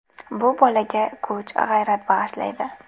Bu bolaga kuch, g‘ayrat bag‘ishlaydi.